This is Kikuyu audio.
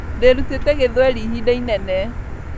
ndirutite githweri ihida inene